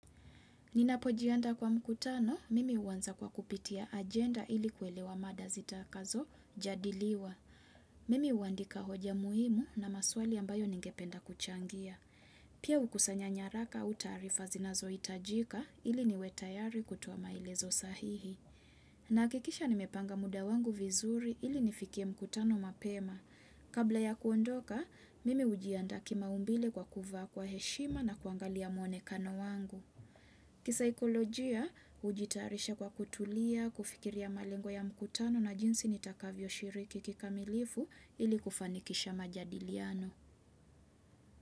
Ninapojianda kwa mkutano, mimi huanza kwa kupitia agenda ili kuelewa mada zita kazo jadiliwa. Mimi huandika hoja muhimu na maswali ambayo ningependa kuchangia. Pia hukusanya nyaraka au tarifa zinazohitajika ili niwe tayari kutoa maelezo sahihi. Nahakikisha nimepanga muda wangu vizuri ili nifikie mkutano mapema. Kabla ya kuondoka, mimi hujiandaa kimaumbile kwa kuvaa kwa heshima na kuangalia muonekano wangu. Kisaikolojia hujitarisha kwa kutulia, kufikiria malengwa ya mkutano na jinsi nitakavyo shiriki kikamilifu ili kufanikisha majadiliano.